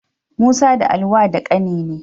Musa da Ali wa da ƙani ne.